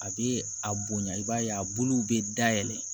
A bɛ a bonya i b'a ye a buluw bɛ dayɛlɛ